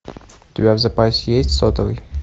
у тебя в запасе есть сотовый